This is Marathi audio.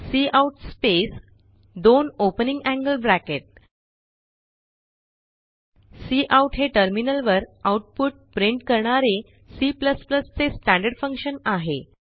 काउट स्पेस दोन ओपनिंग एंगल ब्रॅकेट काउट हे टर्मिनलवर आउटपुट प्रिंट करणारे C चे स्टँडर्ड फंक्शन आहे